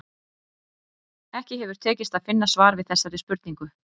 Ekki hefur tekist að finna svar við þessari spurningu.